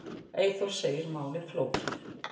Eyþór segir málið flókið.